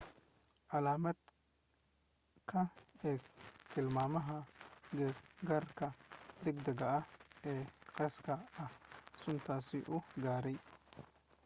caalamad ka eeg tilmaamaha gaargaarka degdega ah ee khaaska ah ee suntaas u gaara